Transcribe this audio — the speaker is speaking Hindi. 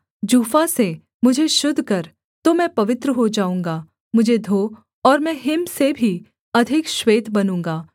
जूफा से मुझे शुद्ध कर तो मैं पवित्र हो जाऊँगा मुझे धो और मैं हिम से भी अधिक श्वेत बनूँगा